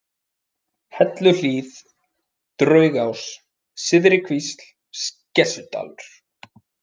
Helluhlíð, Draugás, Syðri-Kvísl, Skessudalur